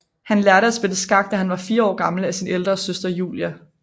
Han lærte at spille skak da han var 4 år gammel af sin ældre søster Julia